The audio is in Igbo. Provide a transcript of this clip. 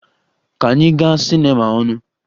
Ka anyị gaa cinema ọnụ!